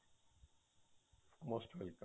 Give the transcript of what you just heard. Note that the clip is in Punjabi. most welcome